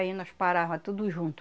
Aí nós parava tudo junto.